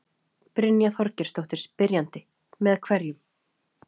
Brynja Þorgeirsdóttir, spyrjandi: Með hverju?